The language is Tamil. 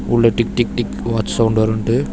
உள்ள tick tick tick watch sound வருண்ட்டு.